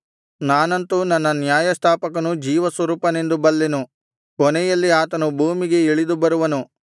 ನಾನಂತು ನನ್ನ ನ್ಯಾಯಸ್ಥಾಪಕನು ಜೀವಸ್ವರೂಪನೆಂದು ಬಲ್ಲೆನು ಕೊನೆಯಲ್ಲಿ ಆತನು ಭೂಮಿಗೆ ಇಳಿದು ಬರುವನು